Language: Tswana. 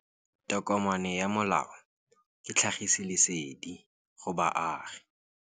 Tokomane ya molao ke tlhagisi lesedi go baagi.